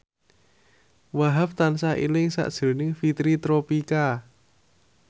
Wahhab tansah eling sakjroning Fitri Tropika